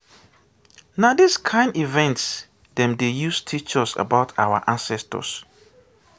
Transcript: na dis kain event dem dey use teach us about our ancestors.